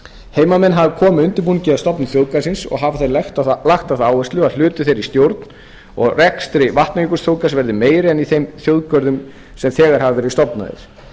heimamenn hafa komið að undirbúningi að stofnun þjóðgarðsins og hafa þeir lagt á það áherslu að hlutur þeirra í stjórn og rekstri vatnajökulsþjóðgarðs verði meiri en í þeim þjóðgörðum sem þegar hafa verið stofnaðir